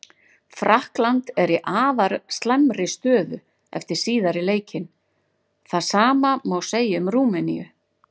Frakkland er í afar slæmri stöðu fyrir síðari leikinn, það sama má segja um Rúmeníu.